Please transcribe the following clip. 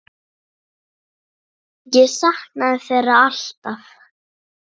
Ég saknaði þeirra alltaf.